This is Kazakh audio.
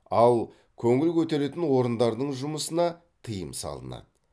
ал көңіл көтеретін орындардың жұмысына тыйым салынады